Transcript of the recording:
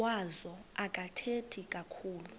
wazo akathethi kakhulu